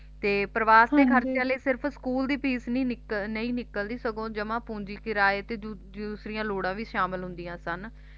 ਤੇ ਪਰਿਵਾਰ ਦੇ ਖਰਚਿਆਂ ਲਈ ਸਕੂਲ ਦੀ ਫੀਸ ਵੀ ਨਿਕਲ ਨਹੀਂ ਨਿਕਲਦੀ ਸਗੋਂ ਜਮਾ ਪੂੰਜੀ ਕਿਰਾਏ ਤੇ ਦੂਸਰਿਆਂ ਲੋੜਾਂ ਵੀ ਸ਼ਾਮਲ ਹੁੰਦੀਆਂ ਸਨ